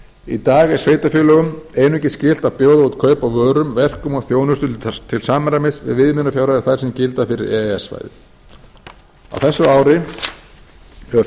í dag er sveitarfélögum einungis skylt að bjóða út kaup á vörum verkum og þjónustu til samræmis við viðmiðunarfjárhæðir þær sem gilda fyrir e e s svæðið á þessu ári hefur